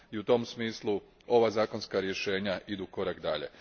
I u tom smislu ova zakonska rješenja idu korak dalje.